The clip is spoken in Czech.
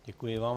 Děkuji vám.